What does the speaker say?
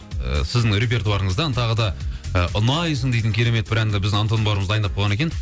сіздің репертуарыңыздан тағы да ұнайсың дейтін керемет бір әнді біздің антон бауырымыз дайындап қойған екен